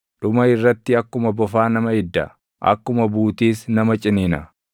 Dhuma irratti akkuma bofaa nama idda; akkuma buutiis nama ciniina.